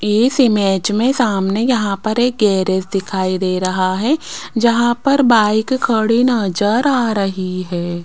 इस इमेज में सामने यहां पर एक गैरेज दिखाई दे रहा है जहां पर बाइक खड़ी नजर आ रही है।